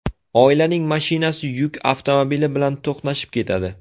Oilaning mashinasi yuk avtomobili bilan to‘qnashib ketadi.